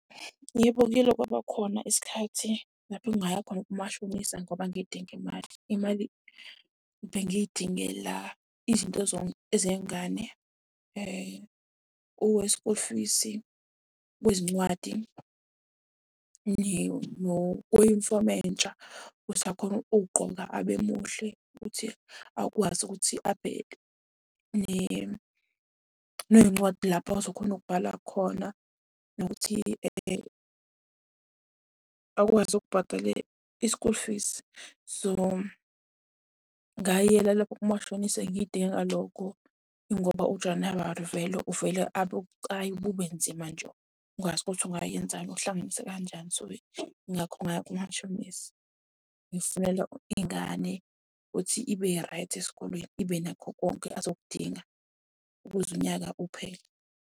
Yebo kuyele kwabakhona isikhathi lapho engaya khona kumashonisa ngoba ngidinga imali. Imali bengiyidingela izinto zengane school fees-i, kwezincwadi kweyunifomu entsha. Usakhona ukugqoka abe muhle ukuthi akwazi ukuthi abheke. Ney'ncwadi lapho azokhona ukubhala khona nokuthi akwazi ukubhadala i-school fees. So, ngayela lapho kumashonisa ngiy'dingela lokho. Ngoba uJanawari vele, uvele abe bucayi bube nzima nje ukwazi ukuthi ungayenzani, uhlanganise kanjani. So, yingakho ngaya kumashonisa, ngifunela ingane ukuthi ibe right esikolweni ibe nakho konke ezokudinga ukuze unyaka uphele.